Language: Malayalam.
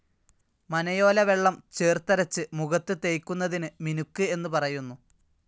മനയോല വെള്ളം ചേർത്തരച്ച് മുഖത്ത് തേയ്ക്കുന്നതിന് മിനുക്ക് എന്നു പറയുന്നു.